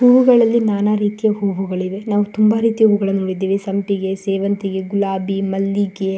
ಹೂವು ಗಳು ಅಂದ್ರೆ ನ ನ ರೀತಿಯ ಹೂಗಳು ಅಂದ್ರೆ ತುಂಬ ರೀತಿಯ ಹೂಗಳು ಸಂಪಿಗೆ ಸೇವಂತಿಗೆ ಗುಲಾಬಿ ಮಲ್ಲಿಗೆ--